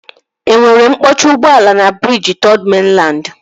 E nwere mkpọchi ụgbọala na briji Third Mainland?